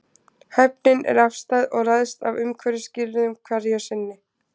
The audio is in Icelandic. Hæfnin er afstæð og ræðst af umhverfisskilyrðum hverju sinni.